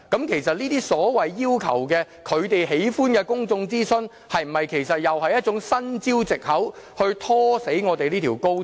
其實這些所謂要求的，他們喜歡的公眾諮詢，是否一種新招數和藉口以拖死這條高鐵？